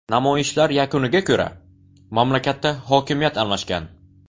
Namoyishlar yakuniga ko‘ra, mamlakatda hokimiyat almashgan.